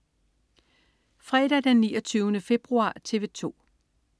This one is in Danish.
Fredag den 29. februar - TV 2: